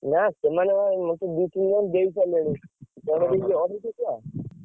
ନା, ସେମାନେ ମତେ କଣ ଦି ତିନି ଜଣ ଦେଇ ସାରିଲେଣି। ଜଣେ ଦେଇଛି ଅଢେଇଶ।